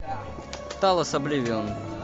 талас обливион